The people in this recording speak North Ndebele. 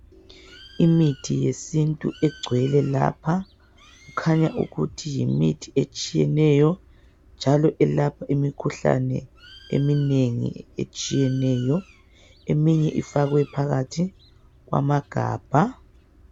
Imithi yesintu egcwele lapha kukhanya ukuthi yimithi etshiyeneyo njalo elapha imikhuhlane eminengi etshiyeneyo. Eminye ifakwe phakathi kwamagabha.